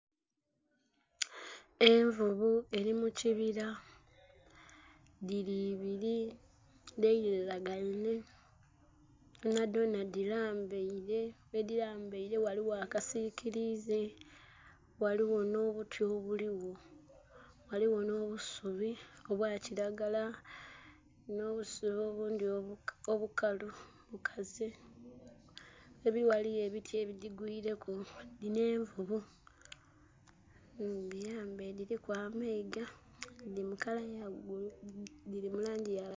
Envuvu eri mukibira dhiri ibiri dheriragenhe dhonha dhonha dhirambere, ghedhirambere ghaligho akasikirize ghaligho nh'obuti obuligho, ghaligho nh'obusubi obwokiragara, nh'obusubi obundhi obukalu bukaze. Ere ghaligho ebiti ebigigwireku, dhinho envuvu nga dhirambere dhiliku amayiga.